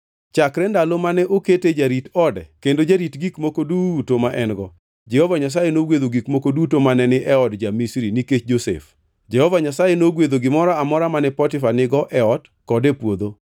Chakre ndalo mane okete jarit ode kendo jarit gik moko duto ma en-go, Jehova Nyasaye nogwedho gik moko duto mane ni e od ja-Misri nikech Josef. Jehova Nyasaye nogwedho gimoro amora mane Potifa nigo e ot kod e puodho.